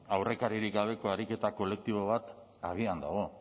aurrekaririk gabeko ariketa kolektibo bat abian dago